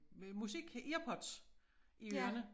Musik øh earpods i ørerne